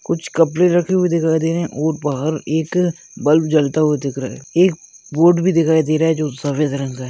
कुछ कपड़े रखे हुये दिखाई दे रहे है और बाहर एक बल्ब जलता हुआ दिख रहा है एक बोर्ड भी दिखाई दे रहा हैं जो सफ़ेद रंग--